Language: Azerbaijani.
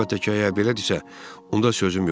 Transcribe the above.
Əlbəttə ki, əgər belədisə, onda sözüm yoxdur.